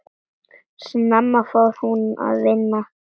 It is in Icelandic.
Snemma fór hún að vinna.